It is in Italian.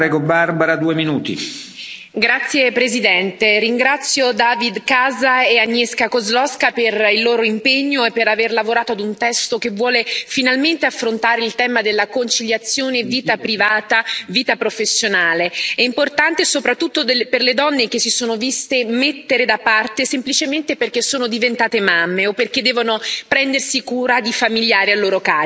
Signor Presidente, onorevoli colleghi, ringrazio David Casa e Agnieszka Kozłowska per il loro impegno e per aver lavorato ad un testo che vuole finalmente affrontare il tema della conciliazione tra vita privata e vita professionale. È importante soprattutto per le donne, che si sono viste mettere da parte semplicemente perché sono diventate mamme o perché devono prendersi cura di familiari a loro carico.